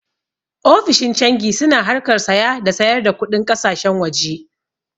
Ofishin cangi su na harkar saya da sayar da kuɗin ƙasashen waje